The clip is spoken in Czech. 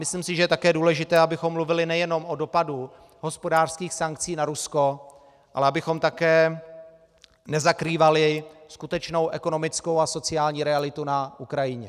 Myslím si, že je také důležité, abychom mluvili nejenom o dopadu hospodářských sankcí na Rusko, ale abychom také nezakrývali skutečnou ekonomickou a sociální realitu na Ukrajině.